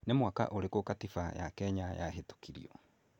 Nĩ mwaka ũrĩkũ Katiba ya Kenya yahĩtukirio?